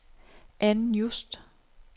Ann Just